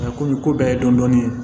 komi ko bɛɛ ye dɔni